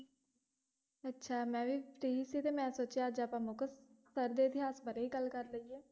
ਅੱਛਾ ਮੈਂ ਵੀ free ਸੀ ਤੇ ਮੈਂ ਸੋਚਿਆ ਅੱਜ ਆਪਾਂ ਮੁਕਤਸਰ ਦੇ ਇਤਿਹਾਸ ਬਾਰੇ ਹੀ ਗੱਲ ਕਰ ਲਈਏ।